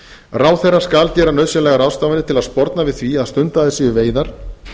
ráðherra skal gera nauðsynlegar ráðstafanir til þess að sporna við því að stundaðar séu veiðar